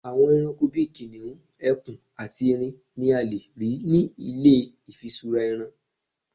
àwọn eranko bi kiniun, ẹkùn ati erin ni a lè rí nì ilé ifisura ẹran